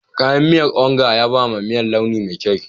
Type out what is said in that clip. Kayan miyar Onga ya ba wa miyar launi mai kyau.